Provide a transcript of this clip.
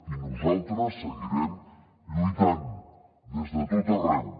i nosaltres seguirem lluitant des de tot arreu